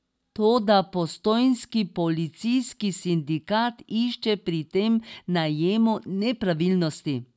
Toda postojnski policijski sindikat išče pri tem najemu nepravilnosti.